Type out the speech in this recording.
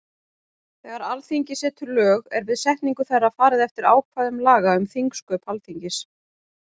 Þegar Alþingi setur lög er við setningu þeirra farið eftir ákvæðum laga um þingsköp Alþingis.